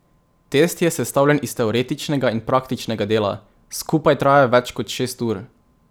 Test je sestavljen iz teoretičnega in praktičnega dela, skupaj traja več kot šest ur.